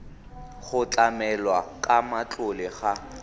go tlamelwa ka matlole ga